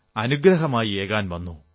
അനുഗ്രഹമായി ഏകാൻ വന്നു